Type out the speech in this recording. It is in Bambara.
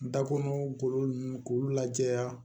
N da kɔnɔ golo nunnu k'olu lajɛ